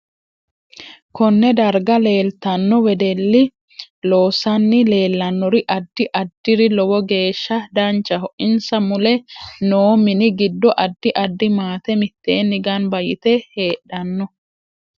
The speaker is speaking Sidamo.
KOnne darga leeltanno wedelli loosani leelannori addi addiri lowo geesha danchaho insa mule noo mini giddo addi addi maate miteeni ganba yite heedhanno